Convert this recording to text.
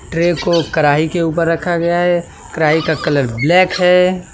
Tray को कड़ाई के ऊपर रखा गया है कड़ाई का कलर ब्लैक हैं।